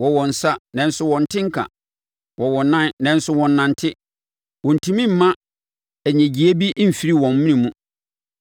Wɔwɔ nsa, nanso wɔnte nka; Wɔwɔ nan, nanso wɔnnante. Wɔntumi mma nnyegyeeɛ bi mfiri wɔn mene mu.